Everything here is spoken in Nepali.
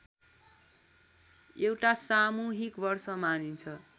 एउटा सामूहिक वर्ष मानिन्छ